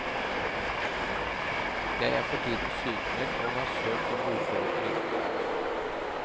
Jeg er for tiden sykmeldt og har søkt om uføretrygd.